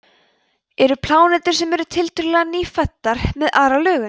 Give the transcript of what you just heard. eru plánetur sem eru tiltölulega „nýfæddar“ með aðra lögun